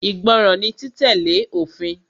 Ìgbọràn ni títẹ̀lé òfin.